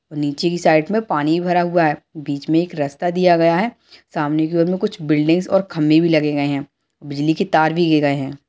और नीचे की साइड में पानी भी भरा हुआ है बीच में एक रास्ता दिया हुआ है सामने की ओर बिल्डिंग्स और खम्बे भी लगे गए है बिजली के तार भी लिए गए है।